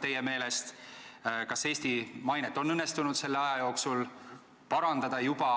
teie meelest edukad ja kas Eesti mainet on juba õnnestunud selle aja jooksul parandada.